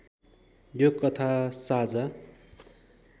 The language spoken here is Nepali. यो कथा साझा